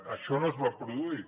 això no es va produir